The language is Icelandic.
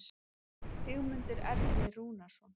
Sigmundur Ernir Rúnarsson